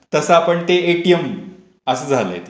तस आपण ते एटीएम असं झालंय ते.